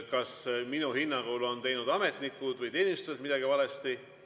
Kas minu hinnangul on ametnikud või teenistujad teinud midagi valesti?